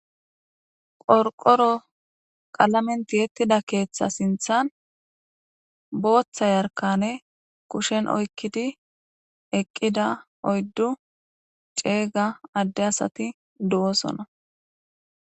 Qorqoro qalamen tiyedoga sinthan botha yarkane kushen oykidi eqida 4 cega ade asati de'osona